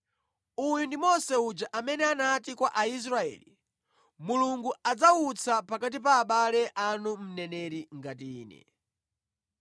“Uyu ndi Mose uja amene anati kwa Aisraeli, ‘Mulungu adzawutsa pakati pa abale anu mneneri ngati ine.’